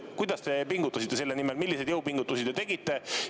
Kuidas te pingutasite selle nimel, milliseid jõupingutusi te tegite?